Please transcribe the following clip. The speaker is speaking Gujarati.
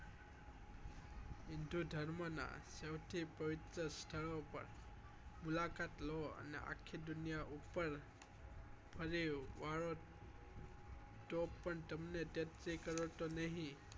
હિન્દુધર્મ નાં સૌથી પવિત્ર સ્થળો પર મુલાકાત લો અને આખી દુનિયા ઉપર ફરી વળ તો પણ તમને તેત્રી કરોડ તો નહી